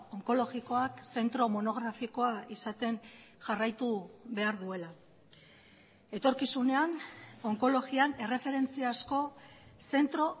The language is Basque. onkologikoak zentro monografikoa izaten jarraitu behar duela etorkizunean onkologian erreferentziazko zentro